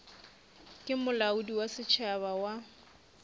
ke molaodi wa setšhaba wa